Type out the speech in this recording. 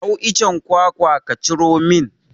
Hau icen kwakwa ka ciro min!